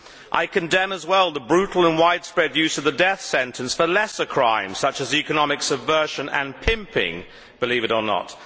I condemn as well the brutal and widespread use of the death sentence for lesser crimes such as economic subversion and pimping, believe it or not.